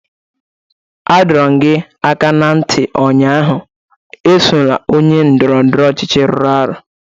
Adọ m gị aka na ntị ụnyaahụ, esola onye ndọrọ ndọrọ ọchịchị rụrụ arụ!